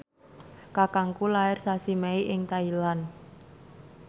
kakangku lair sasi Mei ing Thailand